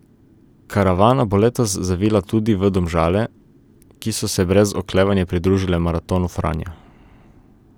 Karavana bo letos zavila tudi v Domžale, ki so se brez oklevanja pridružile Maratonu Franja.